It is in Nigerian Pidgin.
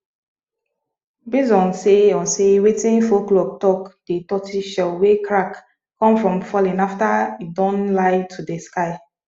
base on sey on sey wetin folklore talk de tortoise shell wey crack come from falling after e don lie to de sky